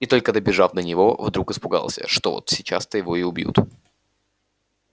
и только добежав до него вдруг испугался что вот сейчас то его и убьют